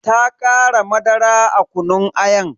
Ta kara madara a kunun ayan.